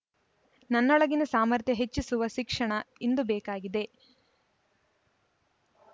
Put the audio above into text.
ನನ್ನೊಳಗಿನ ಸಾಮರ್ಥ್ಯ ಹೆಚ್ಚಿಸುವ ಶಿಕ್ಷಣ ಇಂದು ಬೇಕಾಗಿದೆ